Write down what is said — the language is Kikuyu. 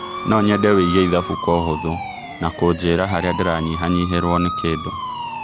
no nyende wĩige ĩthabũ kwo ũhũthũ na kũnjĩira harĩa ndĩranyĩhanyĩhirwo nĩ kindũ